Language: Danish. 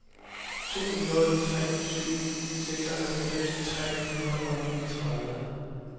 to nul tre syv seksoghalvfems tre hundrede og niogtredive